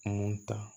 Mun ta